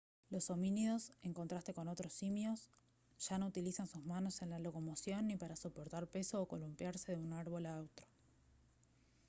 los homínidos en contraste con otros simios ya no utilizan sus manos en la locomoción ni para soportar peso o columpiarse de un árbol a otro